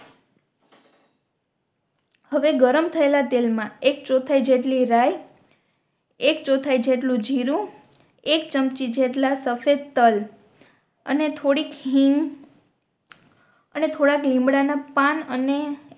હવે ગરમ થયેલા તેલ મા એક ચૌઠાઈ જેટલી રાય એક ચૌઠાઈ જેટલું જીરું એક ચમચી જેટલા સફેદ તલ અને થોડીક હિંગ અને થોડાક લીમડા ના પાન અને